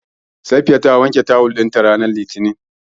Safiya ta wanke tawul ɗinta ranar Litinin.